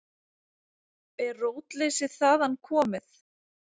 Er rótleysið þaðan komið?